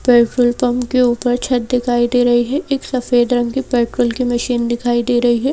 Petrol pump के ऊपर छत दिखाई दे रही है एक सफेद रंग की पेट्रोल की मशीन दिखाई दे रही है।